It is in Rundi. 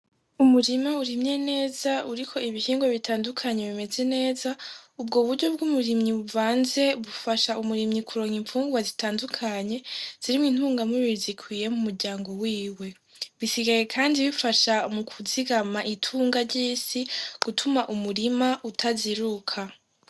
Umurima urimye neza uri ko ibihingwa bitandukanye bimeze neza ubwo buryo bw'umurimyi buvanze bufasha umurimyi kuronga impfungwa zitandukanye zirimwa intunga mubiri zikwiye mu muryango wiwe bisigaye, kandi bifasha mu kuzigama itunga ry'isi gutuma umurima utaziruka.